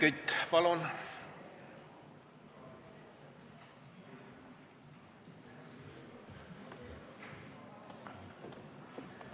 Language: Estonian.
Helmen Kütt, palun!